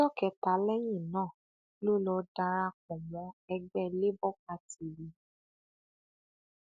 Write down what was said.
ọjọ kẹta lẹyìn náà ló lọ darapọ mọ ẹgbẹ labour party yìí